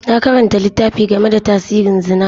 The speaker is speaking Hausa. Na karanta littafi game da tasirin Zina.